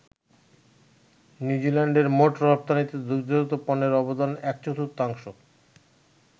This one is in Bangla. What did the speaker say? নিউজিল্যান্ডের মোট রপ্তানিতে দুগ্ধজাত পণ্যের অবদান এক-চর্তুথাংশ।